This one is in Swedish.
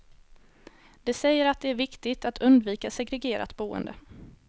De säger att det är viktigt att undvika segregerat boende.